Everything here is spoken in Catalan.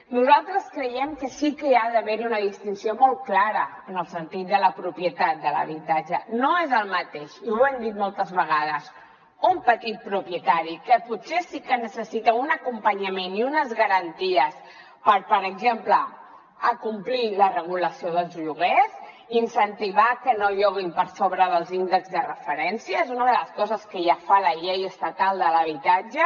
nosaltres creiem que sí que ha d’haver hi una distinció molt clara en el sentit de la propietat de l’habitatge no és el mateix i ho hem dit moltes vegades un petit propietari que potser sí que necessita un acompanyament i unes garanties per per exemple acomplir la regulació dels lloguers incentivar que no el lloguin per sobre dels índexs de referència és una de les coses que ja fa la llei estatal de l’habitatge